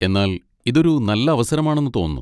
എന്നാൽ ഇതൊരു നല്ല അവസരമാണെന്ന് തോന്നുന്നു.